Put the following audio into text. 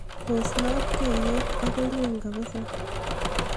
pos loboiyet agoi ng'weny kabiza